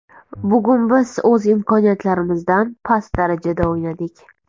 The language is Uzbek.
Bugun biz o‘z imkoniyatlarmizdan past darajada o‘ynadik.